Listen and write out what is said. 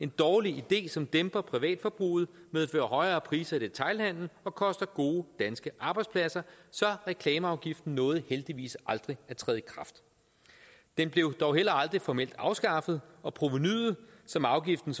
dårlig idé som dæmper privatforbruget medfører højere priser i detailhandelen og koster gode danske arbejdspladser så reklameafgiften nåede heldigvis aldrig at træde i kraft den blev dog heller aldrig formelt afskaffet og provenuet som afgiften